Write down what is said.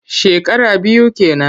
Shekara biyu ke nan.